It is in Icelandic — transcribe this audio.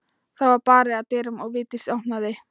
Það var barið að dyrum og Vigdís opnaði.